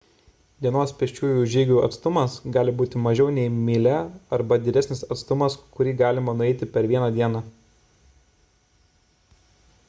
dienos pėsčiųjų žygių atstumas gali būti mažiau nei mylia arba didesnis atstumas kurį galima nueiti per vieną dieną